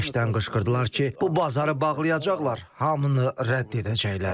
Bərkdən qışqırdılar ki, bu bazarı bağlayacaqlar, hamını rədd edəcəklər.